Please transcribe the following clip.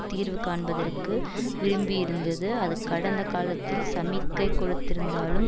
தீர்வு காண்பதற்கு விரும்பியிருந்தது அது கடந்த காலத்தில் சமிக்கை கொடுத்திருந்தாலும்